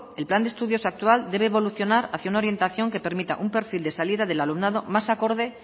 el plan de estudios actual debe evolucionar hacia una orientación que permita un perfil de salida del alumnado más acorde